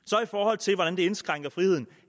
forhold til hvordan det indskrænker friheden